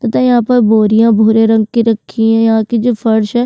पता यहाँ पर बोरियाँ भूरे रंग की रखी हैं यहाँ की जो फर्श है --